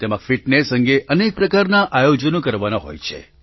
તેમાં ફિટનેસ અંગે અનેક પ્રકારનાં આયોજનો કરાવવાનાં છે